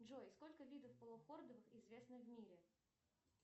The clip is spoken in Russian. джой сколько видов полухордовых известно в мире